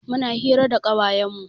Muna hira da ƙawayen mu.